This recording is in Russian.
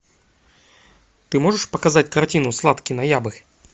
ты можешь показать картину сладкий ноябрь